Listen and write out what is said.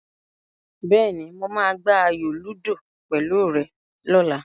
Bẹ́ẹ̀ni, mo máa gbá ayò lúdò pẹ̀lú rẹ lọ́la.